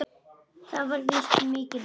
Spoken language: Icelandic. Þá var víst mikil veisla.